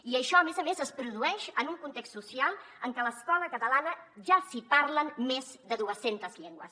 i això a més a més es produeix en un context social en què a l’escola catalana ja s’hi parlen més de dues centes llengües